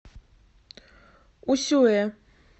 усюэ